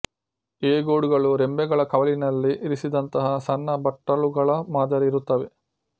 ಈ ಗೂಡುಗಳು ರೆಂಬೆಗಳ ಕವಲಿನಲ್ಲಿ ಇರಿಸಿದಂತಹ ಸಣ್ಣ ಬಟ್ಟಲುಗಳ ಮಾದರಿ ಇರುತ್ತವೆ